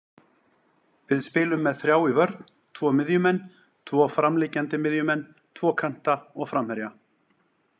Við spilum með þrjá í vörn, tvo miðjumenn, tvo framliggjandi miðjumenn, tvo kanta og framherja.